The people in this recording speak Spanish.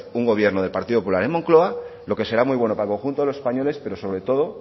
un gobierno del partido popular en moncloa lo que será muy bueno para el conjunto de los españoles pero sobre todo